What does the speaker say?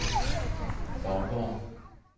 Faaborg